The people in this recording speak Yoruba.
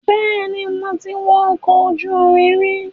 Bẹ́ẹ̀ni, mo ti wọ ọkọ̀ ojú irin rí.